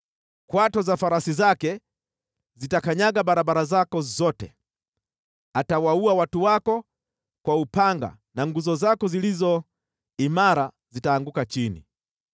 “Kwato za farasi zake zitakanyaga barabara zako zote, atawaua watu wako kwa upanga na nguzo zako zilizo imara zitaanguka chini.